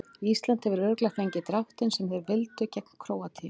Ísland hefur örugglega fengið dráttinn sem þeir vildu gegn Króatíu.